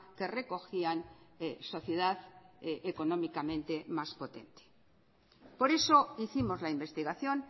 que recogían sociedad económicamente más potente por eso hicimos la investigación